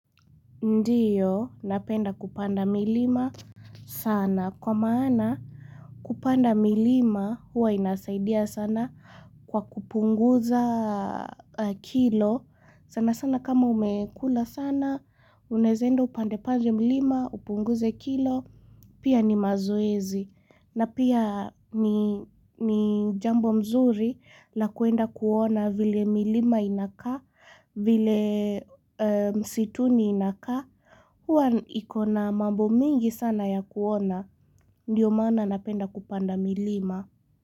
Ndiyo, napenda kupanda milima sana. Kwa maana kupanda milima, huwa inasaidia sana kwa kupunguza kilo. Sana sana kama umekula sana, unezaenda upande pande mlima, upunguze kilo, pia ni mazoezi. Na pia ni ni jambo mzuri la kwenda kuona vile milima inakaa, vile msituni inakaa. Hwa iko na mambo mingi sana ya kuona, ndiyo maana napenda kupanda milima.